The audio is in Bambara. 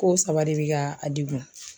Ko saba de bɛ ka a degun.